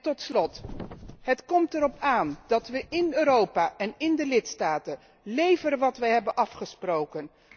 Tot slot, het komt erop aan dat wij in Europa en in de lidstaten leveren wat wij hebben afgesproken.